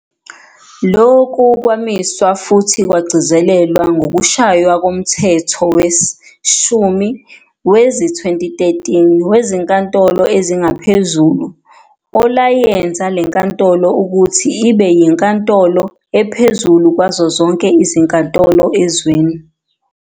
Lokukwamiswa futhi kwagcizelelwa ngokushaywa koMthetho wesi-10 wezi-2013 weziNkantolo ezingaPhezulu olayenza lenkantolo ukuthi ibeyinkantolo ephezulu kwazonke izinkantolo ezweni.